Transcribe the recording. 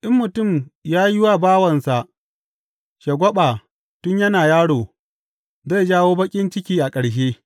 In mutum ya yi wa bawansa shagwaɓa tun yana yaro, zai jawo baƙin ciki a ƙarshe.